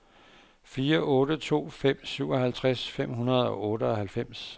fire otte to fem syvoghalvtreds fem hundrede og otteoghalvfems